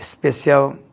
Especial